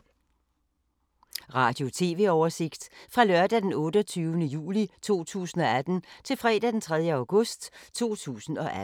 Radio/TV oversigt fra lørdag d. 28. juli 2018 til fredag d. 3. august 2018